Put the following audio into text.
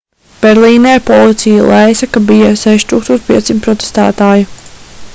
berlīnē policija lēsa ka bija 6500 protestētāju